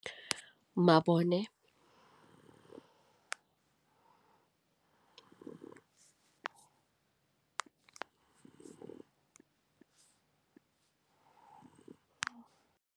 Mabone.